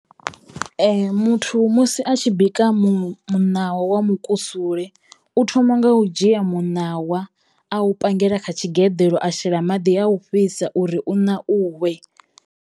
Muthu musi a tshi bika mu muṋawa wa mukusule u thoma nga u dzhia muṋawa a u pangela kha tshigeḓeḽo a shela maḓi a u fhisa uri u ṋauwe.